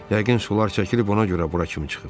Yəqin sular çəkilib, ona görə bura kimi çıxıb.